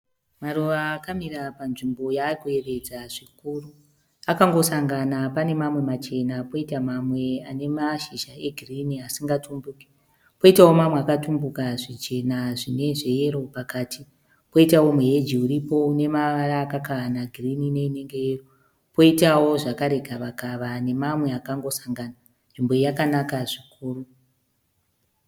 Maruva akamira panzvimbo yaarikuyedza zvikuru. Akangosangana pane mamwe machena koita mamwe ane mashizha egirini asingatumbuke, koitawo mamwe akatumbuka zvichena zvine zveyero pakati, koitawo muheji uripo une mavara akakahana girini neyero, koitawo zvakare gavakava nemamwe akangosangana. Nzvimbo iyi yakanaka zvikuru.